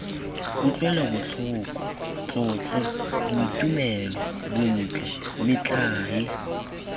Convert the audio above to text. kutlwelobotlhoko tlotlo boitumelo bontle metlae